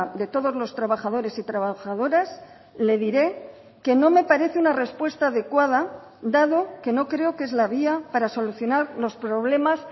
de todos los trabajadores y trabajadoras le diré que no me parece una respuesta adecuada dado que no creo que es la vía para solucionar los problemas